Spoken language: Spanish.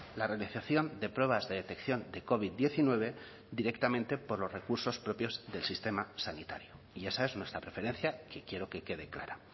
la realización de pruebas de detección de covid diecinueve directamente por los recursos propios del sistema sanitario y esa es nuestra preferencia que quiero que quede clara